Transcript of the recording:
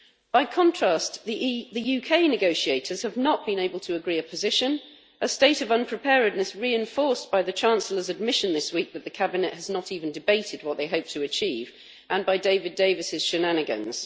By contrast, the UK negotiators have not been able to agree a position, a state of unpreparedness reinforced by the Chancellor's admission this week that the cabinet has not even debated what they hope to achieve and by David Davis's shenanigans.